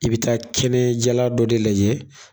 I bi taa kɛnɛ jala dɔ de lajɛ